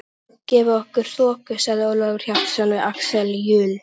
Guð gefi okkur þoku, sagði Ólafur Hjaltason við Axel Jul.